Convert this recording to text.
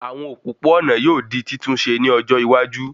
Àwọn òpópó-ònà yóò di títún ṣe ní ọjọ́ iwájú